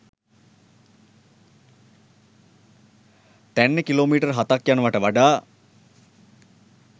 තැන්නේ kilometre හතක් යනවාට වඩා